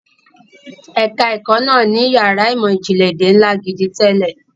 Ẹ̀ka ẹ̀kó náà ní yàrá ìmọ̀ ìjìnlẹ̀ èdè ńlá gidi tẹ́lẹ̀.